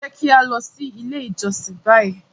Jẹ ki a lọ si ile ijọsin bayi!